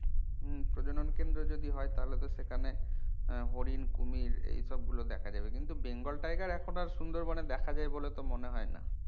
হম প্রজনন কেন্দ্র যদি হয় তাহলে তো সেখানে আহ হরিণ কুমীর এই সব গুলো দেখা যাবে কিন্তু bengal tiger এখন আর সুন্দরবনে দেখা যায় বলে তো মনে হয় না